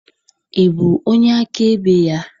Ị bụ onye akaebe ya?